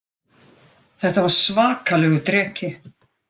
Þetta var svakalegur dreki